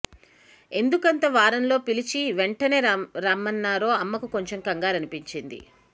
ఎందుకంత వారంలో పిలిచి వెంటనే రామ్మన్నారో అని అమ్మకు కొంచెం కంగారనిపించింది